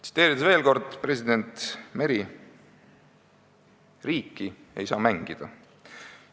Tsiteerin veel kord president Meri: "Riiki ei saa mängida.